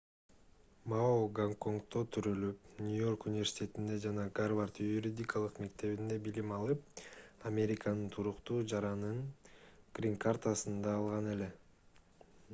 мао гонконгдо төрөлүп нью-йорк университетинде жана гарвард юридикалык мектебинде билим алып американын туруктуу жаранынын грин-картасын да алган эле